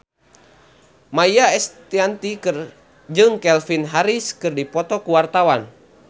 Maia Estianty jeung Calvin Harris keur dipoto ku wartawan